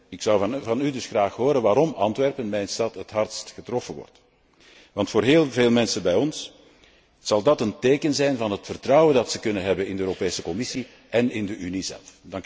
Ik zou van u dus graag horen waarom Antwerpen, mijn stad, het hardst getroffen wordt, want voor heel veel mensen bij ons zal dat een teken zijn voor het vertrouwen dat ze kunnen hebben in de Europese Commissie en in de Unie zelf.